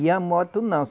E a moto, não.